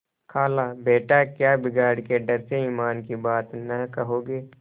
खालाबेटा क्या बिगाड़ के डर से ईमान की बात न कहोगे